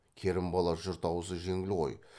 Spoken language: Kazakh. керімбала жұрт аузы жеңіл ғой